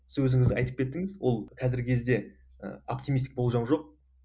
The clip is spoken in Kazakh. сіз өзіңіз айтып кеттіңіз ол қазіргі кезде і оптимистік болжам жоқ